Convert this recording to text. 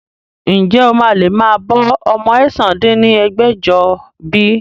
Ǹjẹ́ o máa lè máa bọ́ ọmọ ẹ̀sán dín ní ẹgbẹ́jọ bí?